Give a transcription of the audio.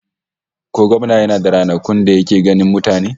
Ko gwamnan yana da ranakun da yake ganin mutane?